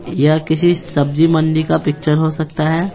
या किसी सब्जी मंडी का पिक्चर हो सकता है।